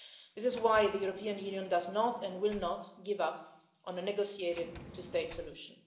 This is why the European Union does not and will not give up on a negotiated two state solution.